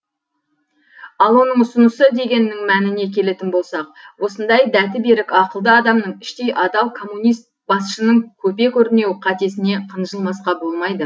ал оның ұсынысы дегеннің мәніне келетін болсақ осындай дәті берік ақылды адамның іштей адал коммунист басшының көпе көрнеу қатесіне қынжылмасқа болмайды